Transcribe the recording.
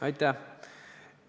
Aitäh!